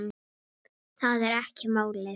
Það er ekki málið.